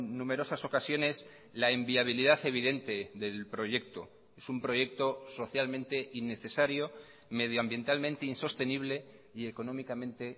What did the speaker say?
numerosas ocasiones la inviabilidad evidente del proyecto es un proyecto socialmente innecesario medioambientalmente insostenible y económicamente